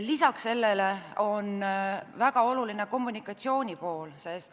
Lisaks sellele on väga oluline kommunikatsiooni pool.